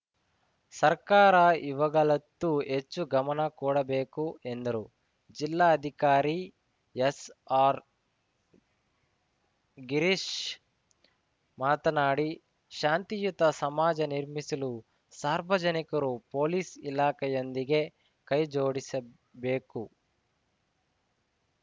ಸರ್ಕಾರ ಇವುಗಳತ್ತು ಹೆಚ್ಚು ಗಮನ ಕೊಡಬೇಕು ಎಂದರು ಜಿಲ್ಲಾಧಿಕಾರಿ ಎಸ್‌ಆರ್‌ಗಿರೀಶ್‌ ಮಾತನಾಡಿ ಶಾಂತಿಯುತ ಸಮಾಜ ನಿರ್ಮಿಸಲು ಸಾರ್ವಜನಿಕರು ಪೊಲೀಸ್‌ ಇಲಾಖೆಯೊಂದಿಗೆ ಕೈ ಜೋಡಿಸಬೇಕು